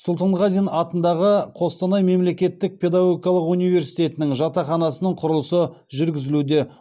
сұлтанғазин атындағы қостанай мемлекеттік педагогиқалық университетінің жатақханасының құрылысы жүргізілуде